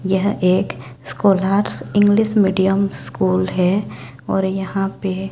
यह एक scholars English medium school हैं और यहाँ पे--